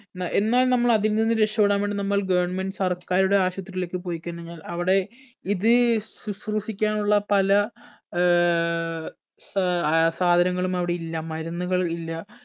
ന്ന്എ ന്നാൽ നമ്മൾ അതിൽ നിന്നും രക്ഷപെടാൻ വേണ്ടി നമ്മൾ government സർക്കാരുടെ ആശുപത്രിയിലേക്ക് പോയി കഴിഞ്ഞായിഞ്ഞാൽ അവിടെ ഇത് ശുസ്രൂഷിക്കാനുള്ള പല ഏർ സ സാധനങ്ങളും അവിടെ ഇല്ലാ മരുന്നുകൾ ഇല്ല